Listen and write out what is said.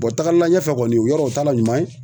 taagalila ɲɛfɛ kɔni yɔrɔ t'a la ɲuman ye.